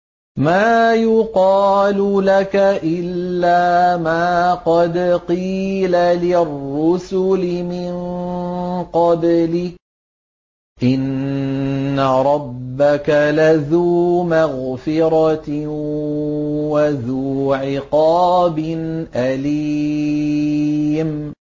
مَّا يُقَالُ لَكَ إِلَّا مَا قَدْ قِيلَ لِلرُّسُلِ مِن قَبْلِكَ ۚ إِنَّ رَبَّكَ لَذُو مَغْفِرَةٍ وَذُو عِقَابٍ أَلِيمٍ